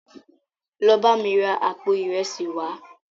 Lọ bámi ra àpò ìresì wàá!